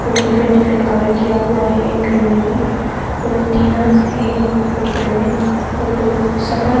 different different colour किया हुआ है एक घर में भी और टीना से ऊपर में और बहुत सफर--